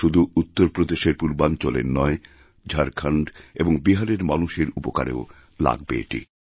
শুধু উত্তরপ্রদেশের পূর্বাঞ্চলেরনয় ঝাড়খণ্ড এবং বিহারের মানুষের উপকারেও লাগবে এটি